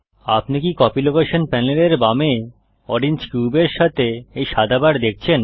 আপনি কি copy location প্যানেলের বামে ওরেঞ্জ কিউব এর সাথে এই সাদা বার দেখছেন